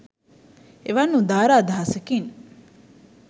එවන් උදාර අදහසකින්